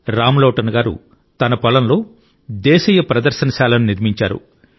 రామ్లోటన్ గారు తన పొలంలో దేశీయ ప్రదర్శనశాలను నిర్మించారు